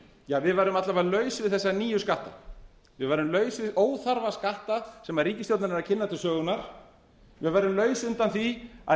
ja við værum alla vega laus við þessa nýju skatta við værum laus við óþarfa skatta sem ríkisstjórnin er að kynna til sögunnar við værum laus undan því að